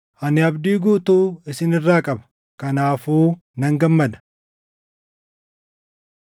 Ani abdii guutuu isin irraa qaba; kanaafuu nan gammada.